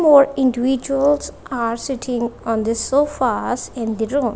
four individuals are sitting on the sofas in the room.